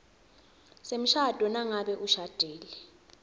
semshado nangabe ushadile